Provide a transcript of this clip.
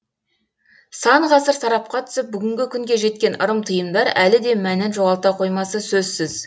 сан ғасыр сарапқа түсіп бүгінгі күнге жеткен ырым тыйымдар әлі де мәнін жоғалта қоймасы сөзсіз